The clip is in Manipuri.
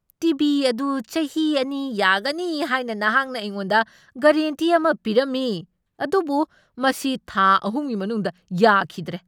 ꯇꯤ. ꯚꯤ. ꯑꯗꯨ ꯆꯍꯤ ꯑꯅꯤ ꯌꯥꯒꯅꯤ ꯍꯥꯏꯅ ꯅꯍꯥꯛꯅ ꯑꯩꯉꯣꯟꯗ ꯒꯔꯦꯟꯇꯤ ꯑꯃ ꯄꯤꯔꯝꯃꯤ ꯑꯗꯨꯕꯨ ꯃꯁꯤ ꯊꯥ ꯑꯍꯨꯝꯒꯤ ꯃꯅꯨꯡꯗ ꯌꯥꯈꯤꯗ꯭ꯔꯦ!